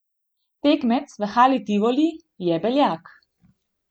Tekmec v Hali Tivoli je Beljak.